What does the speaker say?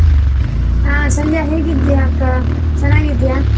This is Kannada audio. ಆ ಸಂಧ್ಯಾ ಹೇಗಿದ್ಯಾ ಅಕ್ಕ, ಚೆನ್ನಾಗಿದ್ಯಾ?